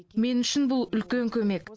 мен үшін бұл үлкен көмек